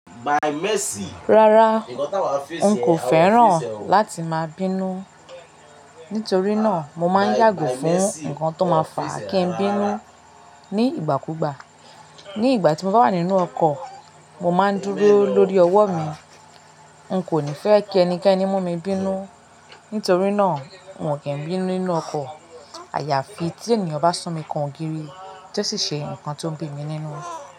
Rárá, n kò fẹ́ràn láti máa bínú. Nítorí náà, mo máa ń yàgò fún nǹkan tó máa fà kí n bínú ní ìgbà kú gbà. Ní ìgbà tí mo bá wà nínú ọkọ̀, mo máa ń dúró lórí ọwọ́ mi. N kò ní fẹ́ kí ẹnikẹ́ni mú mi bínú. Nítorí náà, wọn kì í bí mi nínú ọkọ̀. Àyàfi tí ènìyàn bá sun mi kan ògiri, tó sì ṣe ǹkan tó ń bí mi nínú.